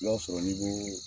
I y'a sɔrɔ ni ko